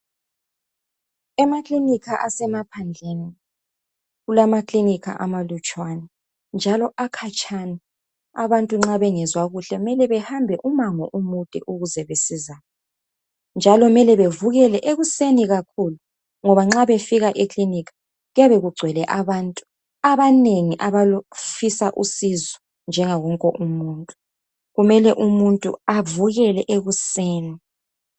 Emaklinikha asemaphandleni, kulamaklinikha amalutshwana, njalo akhatshana. Abantu nxa bengezwa kuhle, mele behambe umango omude ukuze besizane. Njalo mele bavukele ekuseni kakhulu. Ngoba nxa befika eklinikha, kuyabe kugcwele abantu, abanengi abafisa usizo, njengaye wonke umuntu, kumele umuntu avukele ekuseni.